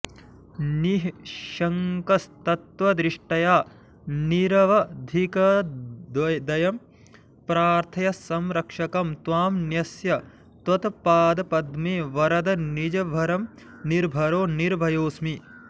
निःशङ्कस्तत्वदृष्ट्या निरवधिकदयं प्रार्थ्य संरक्षकं त्वां न्यस्य त्वत्पादपद्मे वरद निजभरं निर्भरो निर्भयोऽस्मि